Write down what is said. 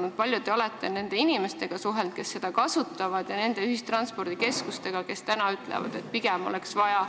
Kui palju te olete suhelnud nende inimestega, kes seda kasutavad, ja nende ühistranspordikeskustega, kes ütlevad praegu pigem, et oleks vaja